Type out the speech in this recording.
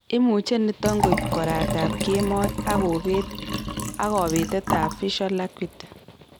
Imuche niton koib koraat ab keemoy ak kobetet ab visual acuity